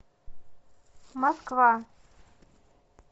москва